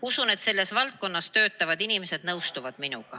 Usun, et selles valdkonnas töötavad inimesed nõustuvad minuga.